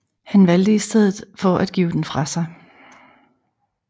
Han valgte i stedet for at give den fra sig